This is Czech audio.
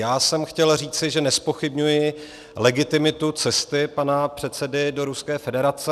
Já jsem chtěl říci, že nezpochybňuji legitimitu cesty pana předsedy do Ruské federace.